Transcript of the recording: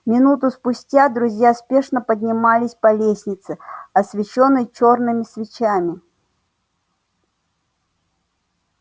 минуту спустя друзья спешно поднимались по лестнице освещённой чёрными свечами